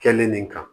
Kɛlen nin kan